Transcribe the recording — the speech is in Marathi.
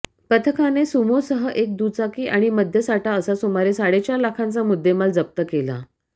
पथकाने सुमोसह एक दुचाकी आणि मद्यसाठा असा सुमारे साडेचार लाखांचा मुद्देमाल जप्त केला